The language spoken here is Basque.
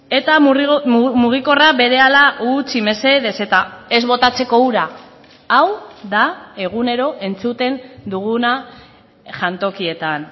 eta mugikorra berehala utzi mesedez eta ez botatzeko ura hau da egunero entzuten duguna jantokietan